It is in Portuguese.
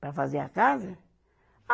Para fazer a casa? É. Ah